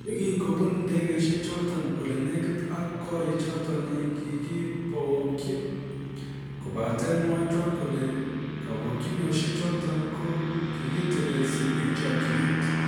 Yegin kobun ndegeishek choton ole negit ak korichoton ii kogigibokchi kobaten mwae Trump kole kabokchinoshek choton ko kigitelelsi en chokyinet.